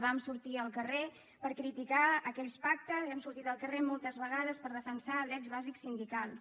vam sortir al carrer per criticar aquells pactes hem sortit al carrer moltes vegades per defensar drets bàsics sindicals